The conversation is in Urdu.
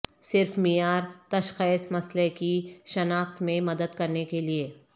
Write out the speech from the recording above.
صرف معیار تشخیص مسئلہ کی شناخت میں مدد کرنے کے لئے